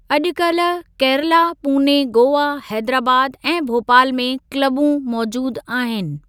अॼुकल्ह केरला, पूने, गोवा, हेदराबाद ऐं भोपाल में क्लबूं मौजूदु आहिनि।